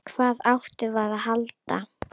Hvað áttum við að halda?